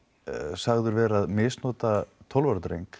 sagður vera að misnota tólf ára dreng